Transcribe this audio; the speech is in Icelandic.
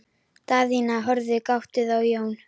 Daðína horfði gáttuð á Jón.